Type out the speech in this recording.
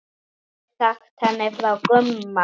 Aldrei sagt henni frá Gumma.